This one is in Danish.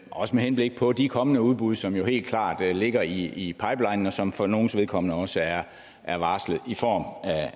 også med henblik på de kommende udbud som jo helt klart ligger i pipelinen og som for nogles vedkommende også er er varslet i form